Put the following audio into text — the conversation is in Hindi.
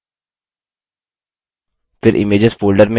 फिर images folder में जाएँ